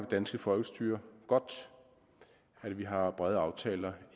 danske folkestyre godt at vi har brede aftaler